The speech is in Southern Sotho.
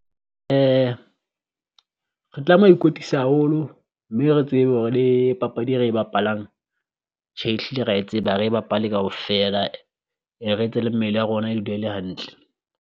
Re tlameha ho ikwetlisa haholo mme re tsebe hore le papadi e re e bapalang tje ehlile ra e tseba, ha re e bapale kaofela re etse le mmele ya rona e dule e le hantle.